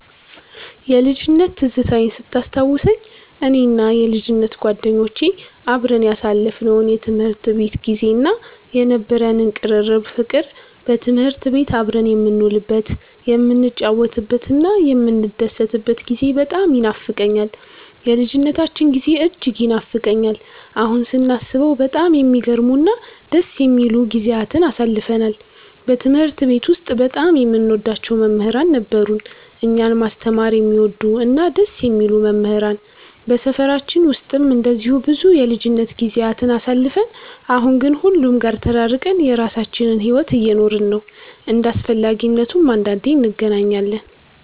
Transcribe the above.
የልጅነት ትዝታዬን ስታስታውሰኝ፣ እኔና የልጅነት ጓደኞቼ አብረን ያሳለፍነው የትምህርት ቤት ጊዜ እና የነበረን ቅርርብ ፍቅር፣ በትምህርት ቤት አብረን የምንውልበት፣ የምንጫወትበትና የምንደሰትበት ጊዜ በጣም ይኖፋቀኛል። የልጅነታችን ጊዜ እጅግ ይናፍቀኛል። አሁን ስናስበው በጣም የሚገርሙ እና ደስ የሚሉ ጊዜያትን አሳልፈናል። በትምህርት ቤት ውስጥ በጣም የምንወዳቸው መምህራን ነበሩን፤ እኛን ማስተማር የሚወዱ እና ደስ የሚሉ መምህራን። በሰፈራችን ውስጥም እንደዚሁ ብዙ የልጅነት ጊዜያትን አሳልፈን፣ አሁን ግን ሁሉም ጋር ተራርቀን የራሳችንን ሕይወት እየኖርን ነው። እንደ አስፈላጊነቱም አንዳንዴ እንገናኛለን።